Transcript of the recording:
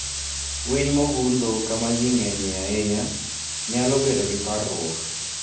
Winy mogundho kama ji ng'enyie ahinya nyalo bedo gi parruok.